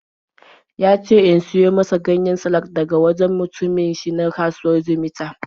Ya ce in siyo masa ganyen salak daga wajen mutumin shi na kasuwar Jimeta.